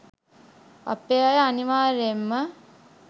අපේ අය අනිවාර්යෙන්ම